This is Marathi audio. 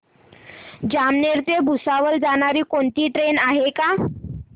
जामनेर ते भुसावळ जाणारी कोणती ट्रेन आहे का